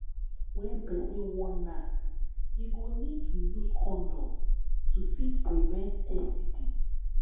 when person wan knack im go need to use condom to fit prevent std